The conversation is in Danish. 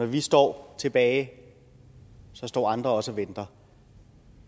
vi står tilbage står andre også og venter